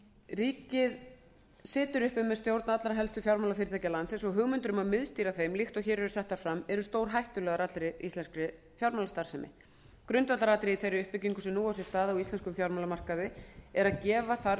ríkið situr uppi með stjórn allra helstu fjármálafyrirtækja landsins og hugmyndir um að miðstýra þeim líkt og hér eru settar fram eru stórhættulegar íslenskri fjármálastarfsemi grundvallaratriði í þeirri uppbyggingu sem nú á sér stað á íslenskum fjármálamarkaði er að gefa þarf